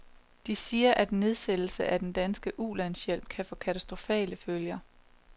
De siger, at en nedsættelse af den danske ulandshjælp kan få katastrofale følger.